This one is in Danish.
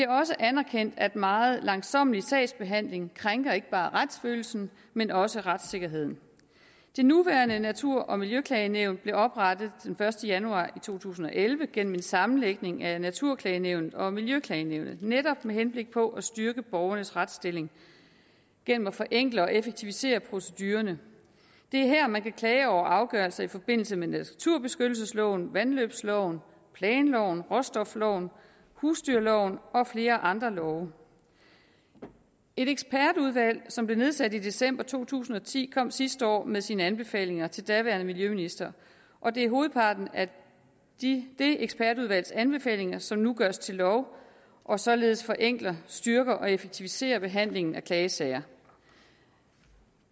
også anerkendt at meget langsommelig sagsbehandling krænker ikke bare retsfølelsen men også retssikkerheden det nuværende natur og miljøklagenævnet blev oprettet den første januar to tusind og elleve gennem en sammenlægning af naturklagenævnet og miljøklagenævnet netop med henblik på at styrke borgernes retsstilling gennem at forenkle og effektivisere procedurerne det er her man kan klage over afgørelser i forbindelse med naturbeskyttelsesloven vandløbsloven planloven råstofloven husdyrloven og flere andre love et ekspertudvalg som blev nedsat i december to tusind og ti kom sidste år med sine anbefalinger til den daværende miljøminister og det er hovedparten af det ekspertudvalgs anbefalinger som nu gøres til lov og således forenkler styrker og effektiviserer behandlingen af klagesager